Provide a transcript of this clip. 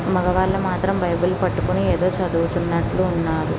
మగవాళ్ళు మాత్రం బైబిల్ పట్టుకుని ఏదో చదువుతున్నట్టు ఉన్నారు.